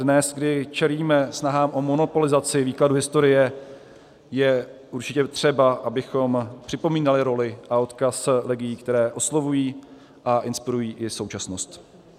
Dnes, kdy čelíme snahám o monopolizaci výkladu historie, je určitě třeba, abychom připomínali roli a odkaz legií, které oslovují a inspirují i současnost.